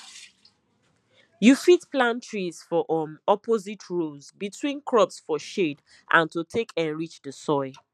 you fit plant trees for um opposite rows between crops for shade and to take enrich the soil